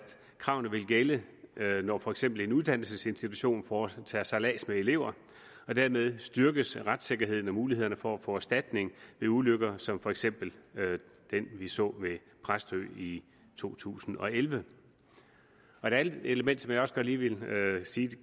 kravene vil gælde når for eksempel en uddannelsesinstitution foretager sejlads med elever og dermed styrkes retssikkerheden og mulighederne for at få erstatning ved ulykker som for eksempel den vi så ved præstø i to tusind og elleve et andet element som jeg også godt lige ville